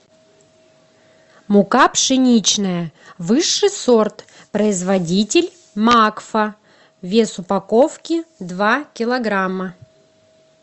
мука пшеничная высший сорт производитель макфа вес упаковки два килограмма